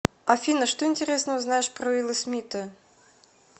афина что интересного знаешь про уилла смита